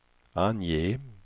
ange